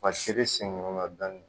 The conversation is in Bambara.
Ka siri sen ɲɔgɔn na dɔɔnin